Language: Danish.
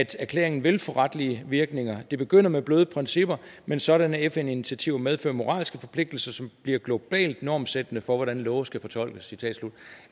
erklæringen vil få retlige virkninger det begynder med bløde principper men sådanne fn initiativer medfører moralske forpligtelser som bliver globalt normsættende for hvordan love skal fortolkes